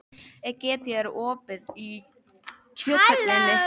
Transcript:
Egedía, er opið í Kjöthöllinni?